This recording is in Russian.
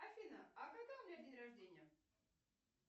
афина а когда у меня день рождения